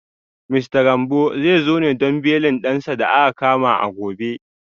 Mista Gambo zai zo ne don belin dansa da aka kama a gobe